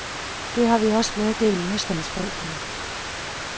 Det har vi også meddelt modstandsfolkene.